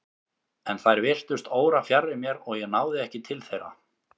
En þær virtust órafjarri mér og ég náði ekki til þeirra.